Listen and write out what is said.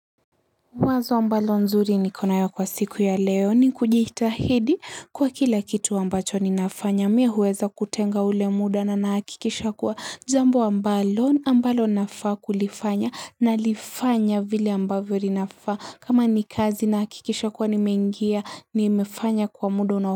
Mwazo ambalo nzuri niko nayo kwa siku ya leo ni kujitahidi kwa kila kitu ambacho ninafanya. Mii huweza kutenga ule muda na nahakikisha kuwa jambo ambalo ambalo nafaa kulifanya nalifanya vile ambavyo inafaa. Kama ni kazi nahakikisha kuwa nimeingia nimefanya kwa muda unao.